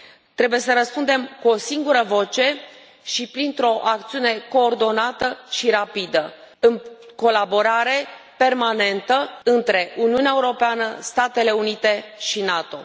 Trebuie să răspundem cu o singură voce și printr o acțiune coordonată și rapidă, în colaborare permanentă între Uniunea Europeană, Statele Unite și NATO.